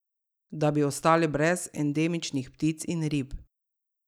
Da bi ostali brez endemičnih ptic in rib.